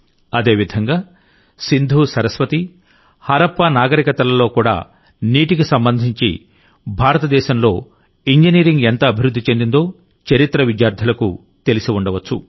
అదేవిధంగాసింధుసరస్వతి హరప్పా నాగరికతలలో కూడా నీటికి సంబంధించి భారతదేశంలో ఇంజనీరింగ్ ఎంత అభివృద్ధి చెందిందో చరిత్ర విద్యార్థులకు తెలిసి ఉండవచ్చు